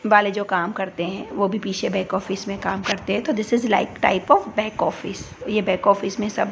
वाले जो काम करते हैं वो भी पीछे बैक ऑफिस में काम करते हैं तो this is like type of back office ये बैक ऑफिस में सब--